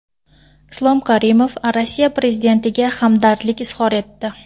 Islom Karimov Rossiya prezidentiga hamdardlik izhor etdi.